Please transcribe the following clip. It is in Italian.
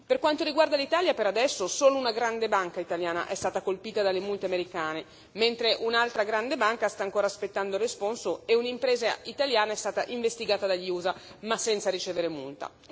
Per quanto riguarda l'Italia, per adesso solo una grande banca italiana è stata colpita dalle multe americane, mentre un'altra grande banca sta ancora aspettando il responso e un'impresa italiana è stata investigata dagli USA ma senza ricevere multe.